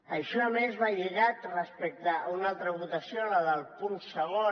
això a més va lligat respecte a una altra votació la del punt segon